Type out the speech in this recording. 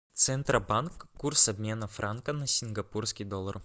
центробанк курс обмена франка на сингапурский доллар